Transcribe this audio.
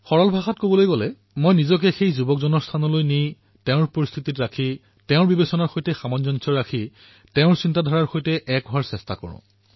সৰল ভাষাত কবলৈ গলে মই নিজকে সেই তৰুণৰ ৰূপত তুলনা কৰোঁ নিজকে সেই পৰিস্থিতিসমূহৰ সন্মুখীন কৰি তেওঁলোকৰ বিচাৰধাৰাৰ সৈতে এক সামঞ্জস্য ৰাখি এক তৰংগ দৈৰ্ঘ সাদৃশ্যকৰণ কৰাৰ প্ৰয়াস কৰোঁ